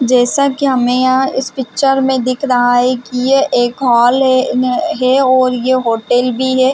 जैसा की हमे यहाँ इस पिक्चर में दिख रहा है की यह एक हॉल है अ नह और ये होटल भी है।